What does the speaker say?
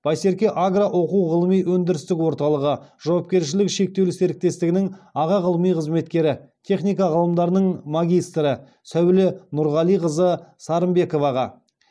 байсерке агро оқу ғылыми өндірістік орталығы жауапкершілігі шектеулі серіктестігінің аға ғылыми қызметкері техника ғылымдарының магистрі сәуле нұрғалиқызы сарымбековаға